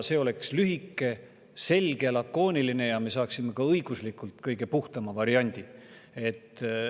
See oleks lühike, selge ja lakooniline ja me saaksime ka õiguslikult kõige puhtama variandi.